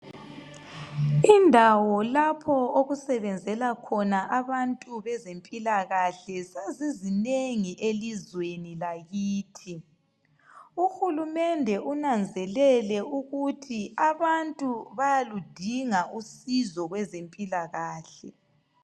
Indawo lapho okusebenzela khona abantu bezempilakahle sezizinengi elizweni lakithi. Uhulumende unanzelele ukuthi abantu bayaludinga usizo kwezempilakahle.